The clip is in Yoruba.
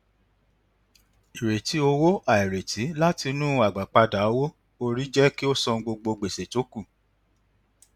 ìrètí owó àìrètí látinú agbápada owó orí jé kí ó san gbogbo gbèsè tó kù